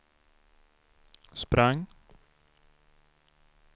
sprang